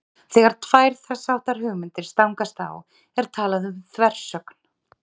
Þegar tvær þess háttar hugmyndir stangast á er talað um þversögn.